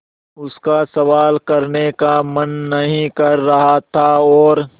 उसका सवाल करने का मन नहीं कर रहा था और